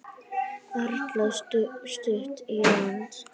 Erla: Stutt í land?